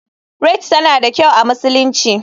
Rite tana da kyau a musulunci.